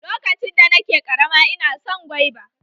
Lokacin da na ke ƙarama ina son gwaiba.